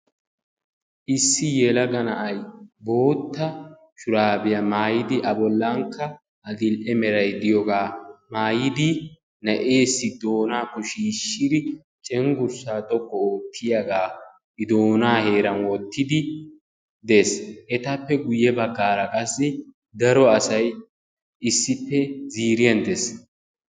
Issi yelaga na'ay bootta shuraabiyaa maayidi a bollankka adil"e meray de'iyoogaa mayidi na'eessi doonaakko shiishshidi cengurssaa xoqqu oottiyaagaa i donaa heeran wottidi des. hegaappe guye baggaara qassi daro asay ziiriyaa des.